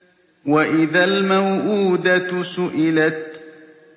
وَإِذَا الْمَوْءُودَةُ سُئِلَتْ